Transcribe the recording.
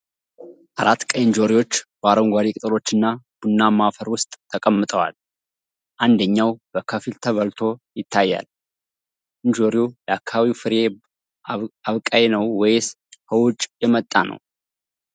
አራት ቀይ እንጆሪዎች በአረንጓዴ ቅጠሎችና ቡናማ አፈር ውስጥ ተቀምጠዋል፣ አንደኛው በከፊል ተበልቶ ይታያል። እንጆሪው ለአካባቢው ፍሬ አብቃይ ነው ወይስ ከውጪ የመጣ?